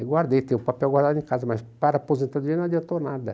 Aí guardei, tenho o papel guardado em casa, mas para aposentadoria não adiantou nada.